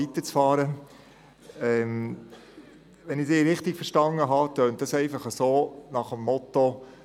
Wenn ich Sie richtig verstanden habe, vertreten Sie die Haltung so nach dem Motto: